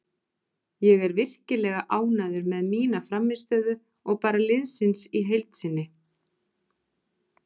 Ég er virkilega ánægður með mína frammistöðu og bara liðsins í heild sinni.